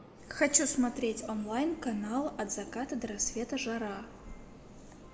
хочу смотреть онлайн канал от заката до рассвета жара